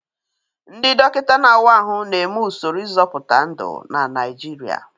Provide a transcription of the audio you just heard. Ndị dọkịta na-awa ahụ na-eme usoro ịzọpụta ndụ na Naijiria.